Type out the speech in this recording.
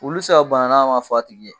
Wulu tɛ se ka bana n'a m'a f'a tigi ye!